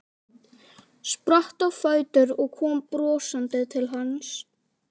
Spratt á fætur og kom brosandi til hans.